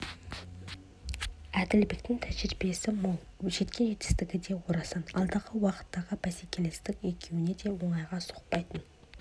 әділбектің тәжірибесі мол жеткен жетістігі де орасан алдағы уақыттағы бәсекелестік екеуіне де оңайға соқпайын деп